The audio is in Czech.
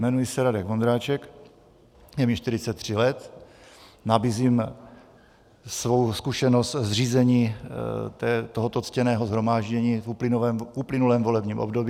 Jmenuji se Radek Vondráček, je mi 43 let, nabízím svou zkušenost s řízením tohoto ctěného shromáždění v uplynulém volebním období.